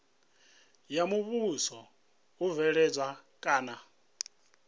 ya muvhuso u bveledza kana